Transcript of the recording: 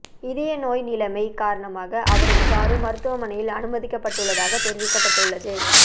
இதய நோய் நிலைமை காரணமாக அவர் இவ்வாறு மருத்துவமனையில் அனுமதிக்கப் பட்டுள்ளதாக தெரிவிக்கப்பட்டுள்ளது